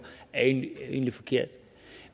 egentlig forkert